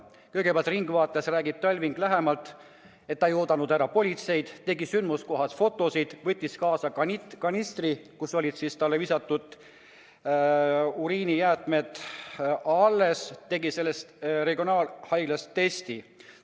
Kõigepealt räägib Talving "Ringvaates" lähemalt, et ta ei oodanud ära politseid, tegi sündmuskohast fotod, võttis kaasa kanistri, milles oli veel alles tema pihta visatud uriini, ja lasi seda regionaalhaiglas testida.